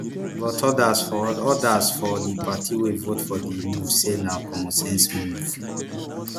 but odas for odas for di party wey vote for di move say na common sense move